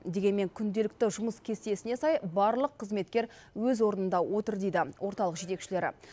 дегенмен күнделікті жұмыс кестесіне сай барлық қызметкер өз орнында отыр дейді орталық жетекшілері